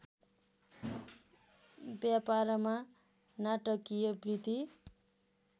व्यापारमा नाटकीय वृद्धि